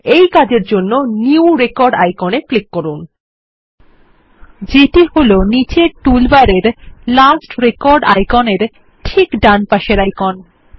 এই কাজের জন্য নিউ রেকর্ড আইকন এ ক্লিক করুন যেটি হলনীচের টুলবারের লাস্ট রেকর্ড আইকন এর ঠিকডানপাশের আইকন